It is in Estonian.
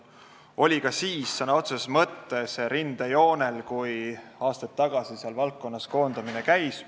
Ta oli ka siis sõna otseses mõttes rindejoonel, kui aastaid tagasi seal valdkonnas koondamine käis.